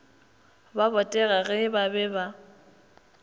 ba botega ge ba be